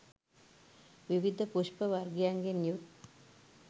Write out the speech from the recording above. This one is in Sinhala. විවිධ පුෂ්ප වර්ගයන්ගෙන් යුත්